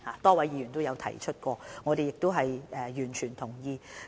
多位議員亦有提及這點，我們亦完全同意。